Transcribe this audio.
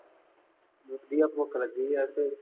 ਵਧੀਆ ਭੁੱਖ ਲੱਗੀ ਆ ਤੇ